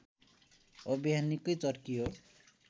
अभियान निकै चर्कियो